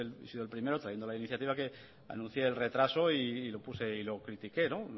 porque yo he sido el primero trayendo la iniciativa anuncié el retraso y lo critiqué